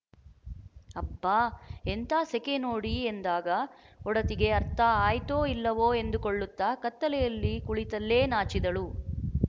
ಅಬ್ಬಾ ಎಂಥಾ ಸೆಕೆ ನೋಡಿ ಎಂದಾಗ ಒಡತಿಗೆ ಅರ್ಥ ಆಯ್ತೋ ಇಲ್ಲವೋ ಎಂದುಕೊಳ್ಳುತ್ತ ಕತ್ತಲೆಯಲ್ಲಿ ಕುಳಿತಲ್ಲೇ ನಾಚಿದಳು